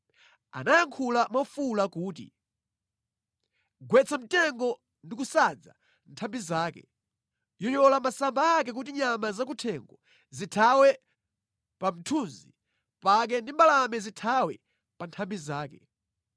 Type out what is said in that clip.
Anayankhula mofuwula kuti, ‘Gwetsa mtengo ndi kusadza nthambi zake; yoyola masamba ake kuti nyama zakuthengo zithawe pa mthunzi pake ndi mbalame zithawe pa nthambi zake.